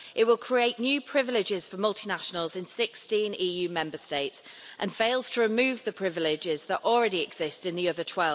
It will create new privileges for multinationals in 16 EU Member States and it fails to remove the privileges that already exist in the other